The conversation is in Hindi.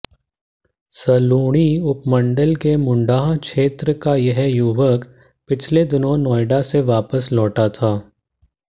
सलूणी उपमंडल के मुंडाह क्षेत्र का यह युवक पिछले दिनों नोएडा से वापस लौटा था